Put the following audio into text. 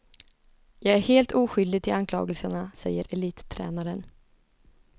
Jag är helt oskyldig till anklagelserna, säger elittränaren.